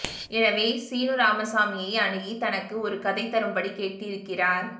எனவே சீனுராமசாமியை அணுகி தனக்கு ஒரு கதை தரும்படி கேட்டிருக்கிறார்